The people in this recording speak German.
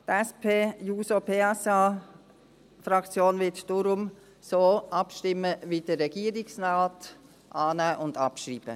Die SPJUSO-PSA-Fraktion wird deshalb so abstimmen wie der Regierungsrat: annehmen und abschreiben.